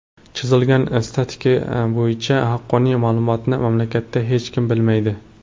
Chizilgan statistika bo‘yicha haqqoniy ma’lumotni mamlakatda hech kim bilmaydi.